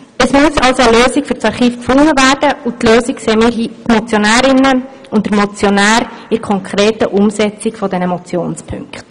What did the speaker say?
Es muss also eine Lösung für das Archiv gefunden werden, und diese Lösung sehen wir Motionärinnen und der Motionär in der konkreten Umsetzung der Motionspunkte.